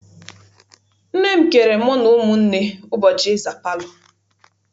Nne m keere mụ na ụmụnne ụbọchị ịza palọ.